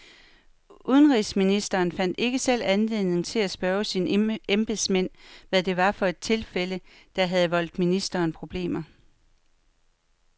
Udenrigsministeren fandt ikke selv anledning til at spørge sine embedsmænd, hvad det var for et tilfælde, der havde voldt ministeriet problemer.